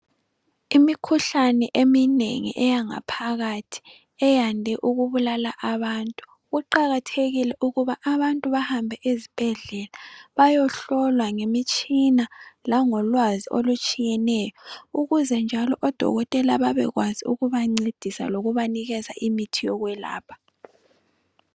Imikhuhlane eminengi eyangaphakathi eyande ukubulala abantu, kuqakathekile ukuthi abantu behambe ezibhedlela bayohlolwa ngemitshina langolwazi olutshiyeneyo, ukuze njalo odokotela babekwazi ukubancedisa lokubanikeza imithi yokwelapha.